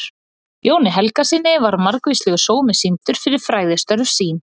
Jóni Helgasyni var margvíslegur sómi sýndur fyrir fræðistörf sín.